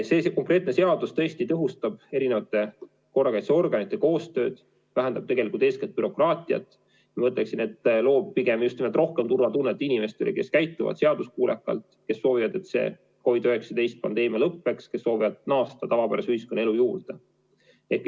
See konkreetne seadus tõhustab korrakaitseorganite koostööd, vähendab eeskätt bürokraatiat, ma ütleksin, et loob pigem just nimelt rohkem turvatunnet inimestele, kes käituvad seaduskuulekalt, kes soovivad, et see COVID‑19 pandeemia lõppeks, kes soovivad naasta tavapärase ühiskonnaelu juurde.